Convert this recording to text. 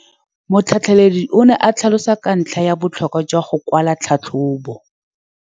Motlhatlheledi o ne a tlhalosa ka ntlha ya botlhokwa jwa go kwala tlhatlhôbô.